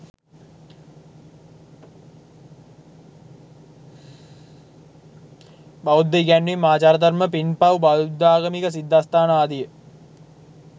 බෞද්ධ ඉගැන්වීම්, ආචාරධර්ම, පින්පව්, බෞද්ධාගමික සිද්ධස්ථාන ආදිය